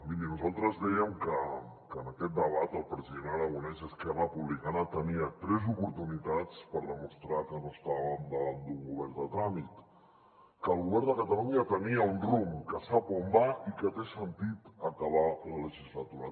miri nosaltres dèiem que en aquest debat el president aragonès i esquerra republicana tenien tres oportunitats per demostrar que no estàvem davant d’un govern de tràmit que el govern de catalunya tenia un rumb que sap on va i que té sentit acabar la legislatura